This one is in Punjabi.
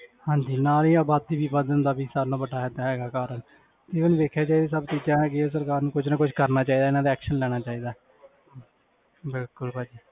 ਹਾਂਜੀ ਨਾਲ ਹੀ ਆਬਾਦੀ ਵੱਧਣ ਦਾ ਵੀ ਸਭ ਨਾਲੋਂ ਵੱਡਾ ਹੈ ਹੈਗਾ ਕਾਰਨ even ਦੇਖਿਆ ਜਾਏ ਜਿੱਦਾਂ ਤੁਸੀਂ ਕਿਹਾ ਨਾ ਕਿ ਸਰਕਾਰ ਨੂੰ ਕੁੱਝ ਨਾ ਕੁੱਝ ਕਰਨਾ ਚਾਹੀਦਾ ਇਹਨਾਂ ਤੇ action ਲੈਣਾ ਚਾਹੀਦਾ ਹੈ ਬਿਲਕੁਲ ਭਾਜੀ।